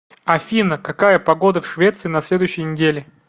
афина какая погода в швеции на следующей неделе